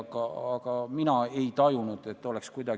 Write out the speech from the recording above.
Keegi ei taha ju loobuda enda tehtud asjast, igaüks usub, et see on parim.